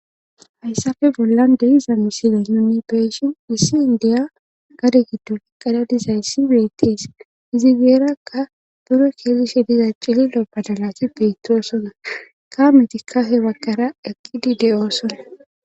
Hayssafe bollan deyiza misiley nuni beeshin issi ndeya gade giddo iqqedadizayssi beettees izi geerakka buro keelishe diza cililo balalati beetoosona ka mitikka he waggara eqqidi de'osona.